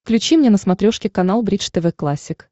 включи мне на смотрешке канал бридж тв классик